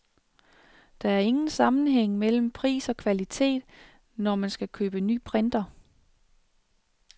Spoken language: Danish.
Der er ingen sammenhæng mellem pris og kvalitet, når man skal købe ny printer.